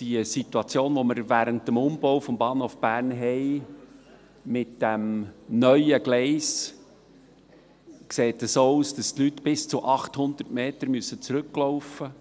Die Situation, die wir mit dem neuen Gleis während dem Umbau des Bahnhofs Bern haben, sieht so aus, dass die Leute bis zu 800 Meter zurücklaufen müssen,